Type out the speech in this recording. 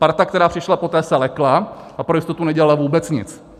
Parta, která přišla poté, se lekla a pro jistotu nedělala vůbec nic.